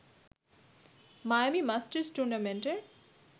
Miami Masters টুর্নামেন্টের